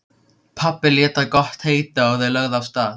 Pabbi lét það gott heita og þau lögðu af stað.